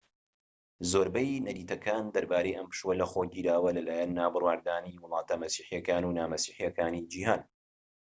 زۆرینەی نەریتەکان دەربارەی ئەم پشووە لەخۆ گیراوە لەلایەن نابڕوادارانی وڵاتە مەسیحیەکان و نا مەسیحیەکانی جیهان